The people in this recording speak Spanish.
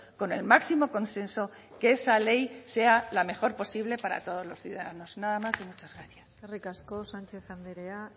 con el máximo consenso que esa ley sea la mejor posible para todos los ciudadanos nada más y muchas gracias eskerrik asko sánchez andrea